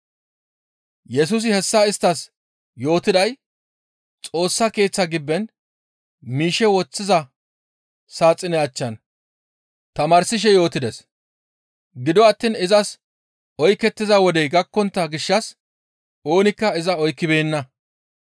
Yesusi hessa isttas yootiday Xoossa Keeththa gibben miishshe woththiza saaxine achchan tamaarsishe yootides; gido attiin izas oykettiza wodey gakkontta gishshas oonikka iza oykkibeenna.